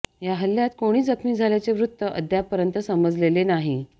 या हल्ल्यात कोणी जखमी झाल्याचे वृत्त अद्यापपर्यंत समजलेले नाही